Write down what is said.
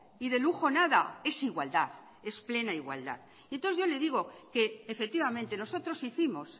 y de lujo nada es igualdad es plena igualdad y entonces yo le digo que efectivamente nosotros hicimos